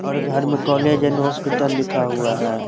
और घर में कोलेज एंड होस्पिटल लिखा हुआ है।